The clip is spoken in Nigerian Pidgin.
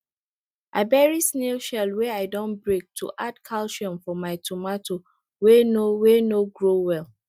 i bury snail shell wey i don break to add calcium for my tomato wey no dey no dey grow well